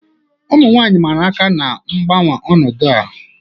Ụmụ nwanyị mara aka na-ngbanwe ọnọdụ a.